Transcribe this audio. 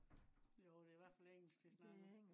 Jo det er i hvert fald engelsk de snakker